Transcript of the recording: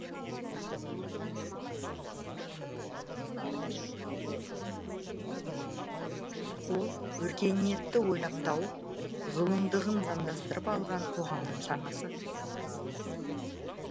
ол өркениетті ойлап тауып зұлымдығын заңдастырып алған қоғамның санасы